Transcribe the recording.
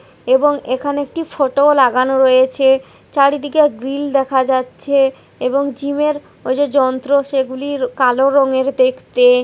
এবং এখানে একটি ফটো ও লাগানো রয়েছে চারিদিকে গ্রিল দেখা যাচ্ছে এবং জিম এর ওই যে যন্ত্র সেগুলির কালো রঙের দেখতে।